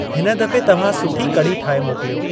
हिन दफ़े तव्हां सुठी कढ़ी ठाहे मोकिलियो।